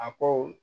A ko